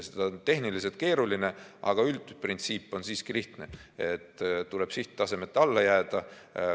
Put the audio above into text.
See on tehniliselt keeruline, aga üldprintsiip on siiski lihtne: tuleb sihttasemest alla jääda.